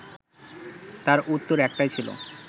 তার উত্তর একটাই ছিল